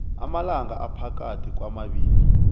amalanga aphakathi kwamabili